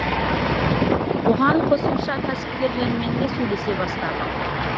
оған қосымша кәсіпкерлермен де сөйлесе бастадық